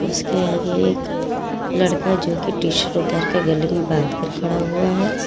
उसके आगे एक लड़का जो की टिशर्ट उतार कर गले में बांध कर खड़ा हुआ है।